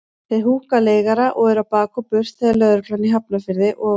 Þeir húkka leigara og eru á bak og burt þegar lögreglan í Hafnarfirði og